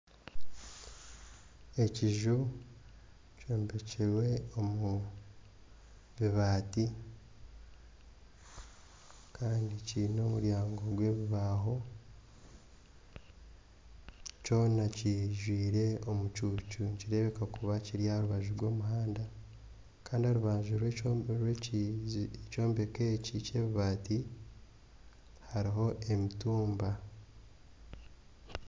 Ekiju kyombekirwe omu bibaati kandi kiine omuryango gw'ebibaaho kyona kiijwire omucuucu nikireebeka kuba kiri aha rubaju rw'omuhanda. Kandi aha rubaju rw'keyombeko eki ky'ebibaati hariho emitumba.